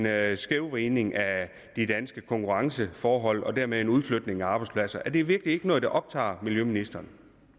er en skævvridning af de danske konkurrenceforhold og dermed udflytning af arbejdspladser er det virkelig ikke noget der optager miljøministeren